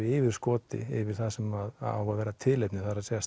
yfirskoti yfir það sem á að vera tilefnið það er